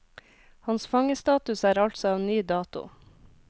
Hans fangestatus er altså av ny dato.